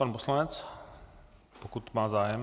Pan poslanec, pokud má zájem.